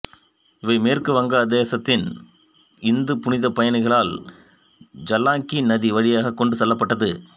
இவை மேற்கு வங்காளதேசத்திற்கு இந்து புனிதப் பயணிகளால் ஜலங்கி நதி வழியாக கொண்டு செல்லப்பட்டது